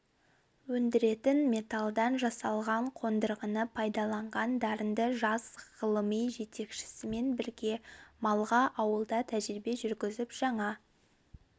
өндіретін металдан жасалған қондырғыны пайдаланған дарынды жас ғылыми жетекшісімен бірге малға ауылда тәжірибе жүргізіп жаңа